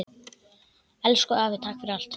Elsku afi takk fyrir allt.